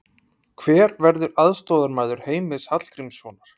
Hver verður aðstoðarmaður Heimis Hallgrímssonar?